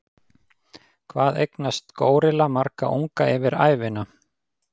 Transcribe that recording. Hvað eignast górilla marga unga yfir ævina?